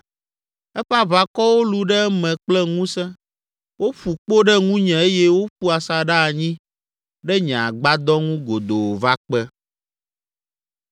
Eƒe aʋakɔwo lũ ɖe eme kple ŋusẽ, woƒu kpo ɖe ŋunye eye woƒu asaɖa anyi ɖe nye agbadɔ ŋu godoo va kpe.